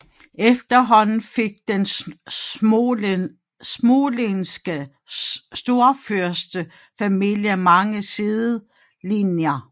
Efterhånden fik den smolenske storfyrstefamilie mange sidelinjer